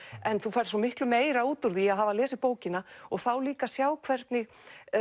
en þú færð svo miklu meira út úr því að hafa lesið bókina og þá líka sjá hvernig